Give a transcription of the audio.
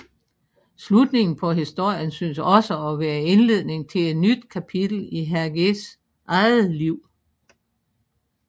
Slutningen på historien synes også at være indledningen til et nyt kapitel i Hergés eget liv